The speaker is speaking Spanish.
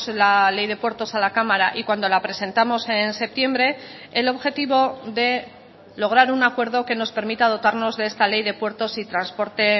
la ley de puertos a la cámara y cuando la presentamos en septiembre el objetivo de lograr un acuerdo que nos permita dotarnos de esta ley de puertos y transporte